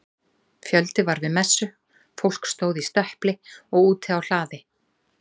Fjöldi var við messu, fólk stóð í stöpli og úti á hlaði.